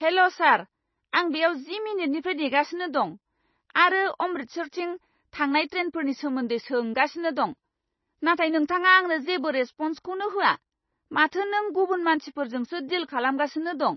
हेल' sir! आं बेयाव जि मिनिटनिफ्राय नेगासिनो दं आरो अमृतसरथिं थांनाय ट्रेनफोरनि सोमोन्दै सोंगासिनो दं, नाथाय नोंथाङा आंनो जेबो रेसप'न्सखौनो होआ। माथो नों गुबुन मानसिफोरजोंसो डिल खालामगासिनो दं!